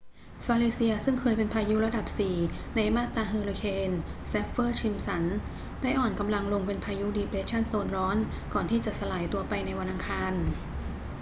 falicia ซึ่งคยเป็นพายุระดับ 4 ในมาตราเฮอร์ริเคนแซฟเฟอร์-ซิมป์สัน ได้อ่อนกำลังลงเป็นพายุดีเปรสชั่นโซนร้อนก่อนที่จะสลายตัวไปในวันอังคาร